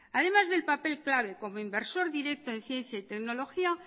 además del papel clave como inversor director en ciencia y tecnología